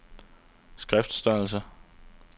skriftstørrelse